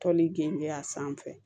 Toli gengen a sanfɛ